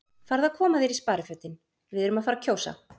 Farðu að koma þér í sparifötin, við erum að fara að kjósa